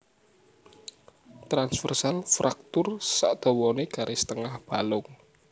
Transversal fraktur sadawane garis tengah balung